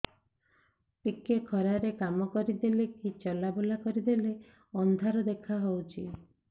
ଟିକେ ଖରା ରେ କାମ କରିଦେଲେ କି ଚଲବୁଲା କରିଦେଲେ ଅନ୍ଧାର ଦେଖା ହଉଚି